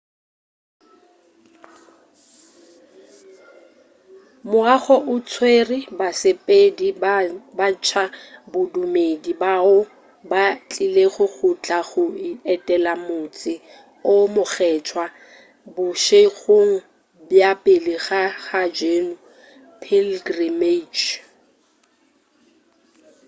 moago o tswere basepedi ba tša bodumedi bao ba tlilego go tla go etela motse o mokgethwa bošegong bja pele ga hajj pilgrimage